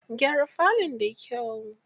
Gyara falon da kyau.